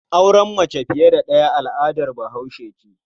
Auren mace fiye da ɗaya al'adar Bahaushe ce.